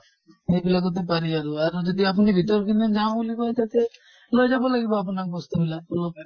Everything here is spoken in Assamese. সেইবিলাকতে পাৰি আৰু আৰু যদি আপুনি ভিতৰৰ পিনে যাওঁ বুলি কয় তেতিয়া লৈ যাব লাগিব আপোনাক বস্তু বিলাক অলপ